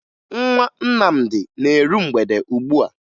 Nwa Nnamdi na-eru mgbede ugbua